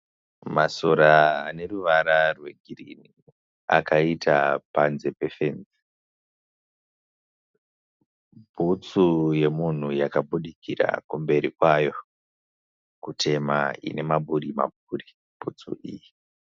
Masora ane ruvara rwegirini akaita panze pefenzi. Bhutsu yemunhu yakabudikira kumberi kwayo kutema ine maburi maburi bhutsu iyi.